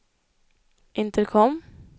intercom